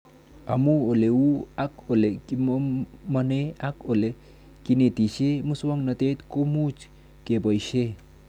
Amu ole uu ak ole kisomanee ak ole kinetishe muswog'natet komuchi kepoishe